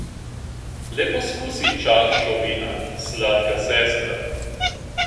Le poskusi čašo vina, sladka sestra.